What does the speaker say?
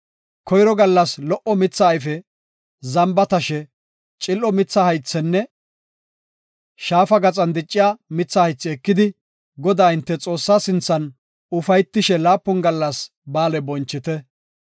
Koyro gallas lo77o mitha ayfe, zamba tashe, cil7o mitha haythenne shaafa gaxan dicciya mitha haythi ekidi, Godaa hinte Xoossaa sinthan ufaytishe laapun gallas ba7aale bonchite.